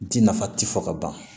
Ji nafa ti fɔ ka ban